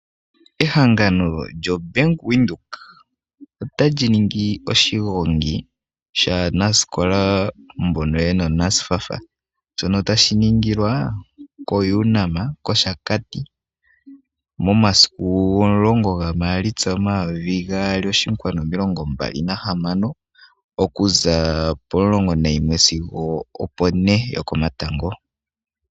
Ehangano lyo Bank Windhoek ota li ningi oshigongi shaanasikola mbono yena NSFAF. Shono tashi ningilwa ko UNAM kOshakati. Momasiku 10 ga Maalitsa 2026 okuza pomulongo nayimwe sigo opo ne yokomatango.